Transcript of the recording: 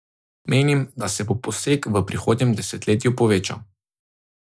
Menim, da se bo posek v prihodnjem desetletju povečal.